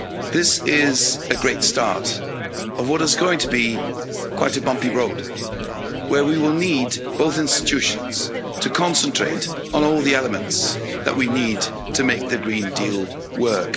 This is a great start of what is going to be quite a bumpy road, where we will need both institutions to concentrate on all the elements that we need to make the Green Deal work.